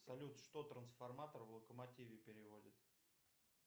салют что трансформатор в локомотиве переводит